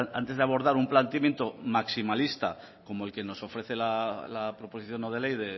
antes de abordar un planteamiento maximalista como el que nos ofrece la proposición no de ley